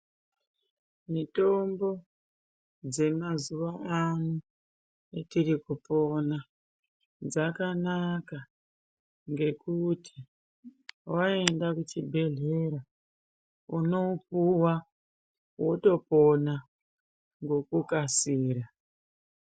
Mitombo dzemazuwaano etirikupona dzakanaka ngekuti waenda kuchibhedhlera unopuwa wotopona ngekukasira.